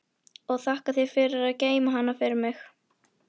Og þakka þér fyrir að geyma hann fyrir mig.